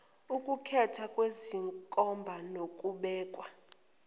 ukukhethwa kwezenkomba nokubekwa